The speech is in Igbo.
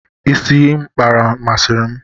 Ịsị ahụ M kpara, masịrị m.